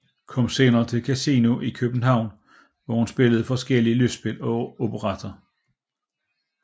Kom senere til Casino i København hvor hun spillede forskellige lystspil og operetter